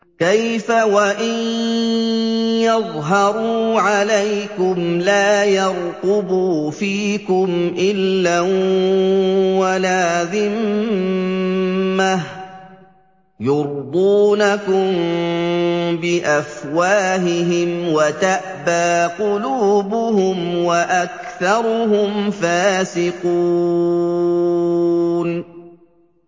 كَيْفَ وَإِن يَظْهَرُوا عَلَيْكُمْ لَا يَرْقُبُوا فِيكُمْ إِلًّا وَلَا ذِمَّةً ۚ يُرْضُونَكُم بِأَفْوَاهِهِمْ وَتَأْبَىٰ قُلُوبُهُمْ وَأَكْثَرُهُمْ فَاسِقُونَ